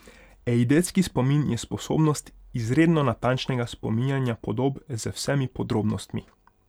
Eidetski spomin je sposobnost izredno natančnega spominjanja podob z vsemi podrobnostmi.